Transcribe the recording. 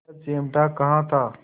यह चिमटा कहाँ था